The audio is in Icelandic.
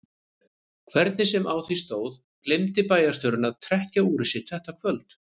Hvernig sem á því stóð gleymdi bæjarstjórinn að trekkja úrið sitt þetta kvöld.